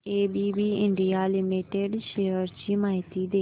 ABB India limited shares ची माहिती दे